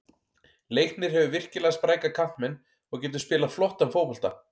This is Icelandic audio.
Leiknir hefur virkilega spræka kantmenn og getur spilað flottan fótbolta.